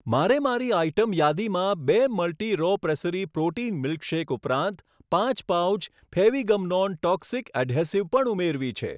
મારે મારી આઇટમ યાદીમાં બે મલ્ટી રો પ્રેસ્સેરી પ્રોટીન મિલ્કશેક ઉપરાંત પાંચ પાઉચ ફેવિગમનોન ટોક્સિક એધેસિવ પણ ઉમેરવી છે.